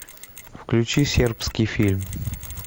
включи сербский фильм